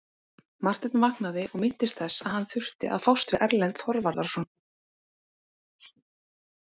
Marteinn vaknaði og minntist þess að hann þurfti að fást við Erlend Þorvarðarson.